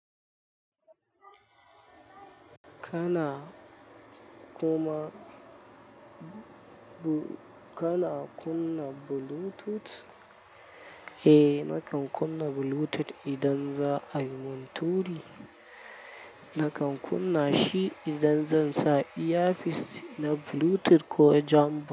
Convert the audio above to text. Kana kuma, kana kunna Bluetooth? Eh, nakan kunna Bluetooth idan za a yi mun turi. Nakan kunna shi idan zan sa earphones na Bluetooth ko jambox.